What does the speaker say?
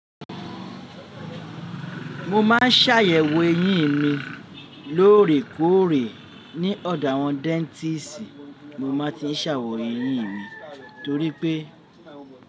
Mo máa ń ṣàyèwò eyín mi lóòrèkóòrè ní ọ̀dọ̀ àwọn dẹ́ntíìsì, mo máa ti ṣàwò eyín mi torí pé.